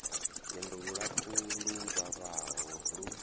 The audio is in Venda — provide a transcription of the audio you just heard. lwendo lulapfu lu vhavhaho lu